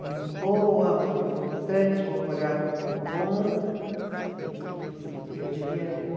Muito boa, muito importante, um coreógrafo muito bom e que eu devia vir.